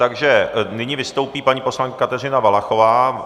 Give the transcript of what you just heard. Takže nyní vystoupí paní poslankyně Kateřina Valachová.